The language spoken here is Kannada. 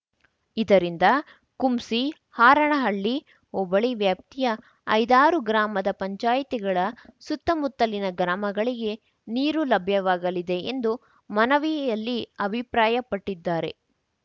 ಇದರಿಂದ ಕುಂಸಿ ಹಾರನಹಳ್ಳಿ ಹೋಬಳಿ ವ್ಯಾಪ್ತಿಯ ಐದಾರು ಗ್ರಾಮ ಪಂಚಾಯಿತಿಗಳ ಸುತ್ತಮುತ್ತಲಿನ ಗ್ರಾಮಗಳಿಗೆ ನೀರು ಲಭ್ಯವಾಗಲಿದೆ ಎಂದು ಮನವಿಯಲ್ಲಿ ಅಭಿಪ್ರಾಯಪಟ್ಟಿದ್ದಾರೆ